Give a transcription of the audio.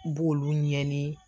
N b'olu ɲɛɲini